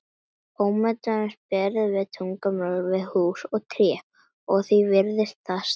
Ómeðvitað berum við tunglið saman við hús og tré og því virðist það stærra.